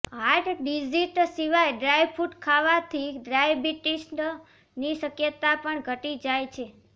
heart disease સિવાય dry fruit ખાવાથી ડાયાબિટીઝની શક્યતા પણ ઘટી જાય છે